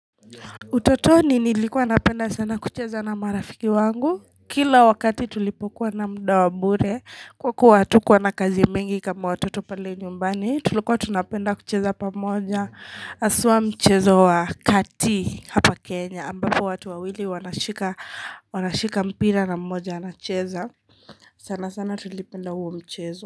Utotoni nilikuwa napenda sana kucheza na marafiki wangu. Kila wakati tulipokuwa na mda wa bure kwa kuwa hatukuwa na kazi mingi kama watoto pale nyumbani tulikuwa tunapenda kucheza pamoja haswa mchezo wa kati hapa Kenya ambapo watu wawili wanashika mpira na mmoja anacheza. Sana sana tulipenda huo mchezo.